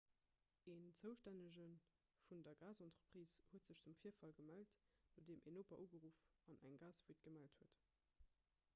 en zoustännege vun der gasentreprise huet sech zum virfall gemellt nodeem en noper ugeruff an eng gasfuite gemellt huet